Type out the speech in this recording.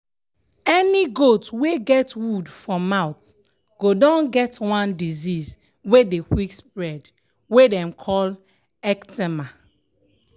any goat wey get wound for mouth go don get one disease wey dey quick spread wey dem call ecthyma.